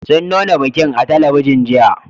Sun nuna bikin a talabijin, jiya.